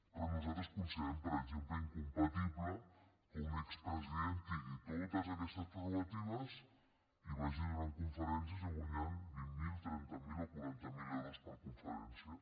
però nosaltres considerem per exemple incompatible que un expresident tingui totes aquestes prerrogatives i vagi donant conferències i guanyant vint mil trenta mil o quaranta mil euros per conferència